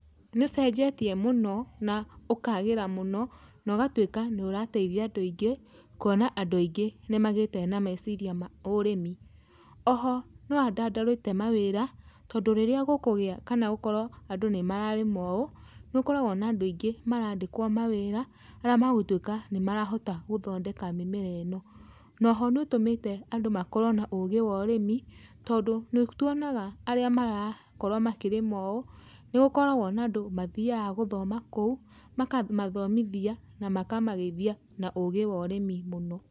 Nĩ ũcenjetie mũno na ũkagĩra mũno na ũgatuĩka nĩ ũrateithia andũ aingĩ, kuona andũ aingĩ nĩ magĩte na meciria ma ũrĩmi. O ho nĩ wandandũrĩte mawĩra, tondũ rĩrĩa gũkũgĩa kana gũkorwo andũ nĩ mararĩma ũũ, nĩ gũkoragwo na andũ aingĩ marandĩkwo ma wĩra arĩa magũtuĩka nĩ marahota gũthondeka mũmera ĩno. No ho nĩ ũtũmĩte andũ makorwo na ũgĩ wa ũrĩmi, tondũ nĩ tuonaga arĩa marakorwo makĩrĩma ũũ, nĩgũkoragwo na andũ mathiyaga gũthoma kũu makamathomithia na makamagĩithia na ũgĩ wa ũrĩmi mũno.